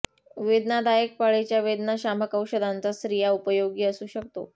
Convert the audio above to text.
वेदनादायक पाळीच्या वेदनाशामक औषधांचा स्त्रिया उपयोगी असू शकतो